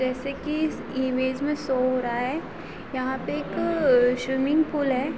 जैसे की इस इमेज मे शो हो रहा है यहाँ पे एक स्विमिंग पूल है।